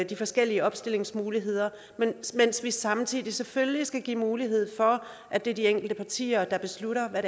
de forskellige opstillingsmuligheder mens mens vi samtidig selvfølgelig skal give mulighed for at det er de enkelte partier der beslutter hvad